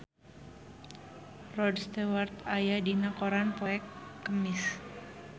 Rod Stewart aya dina koran poe Kemis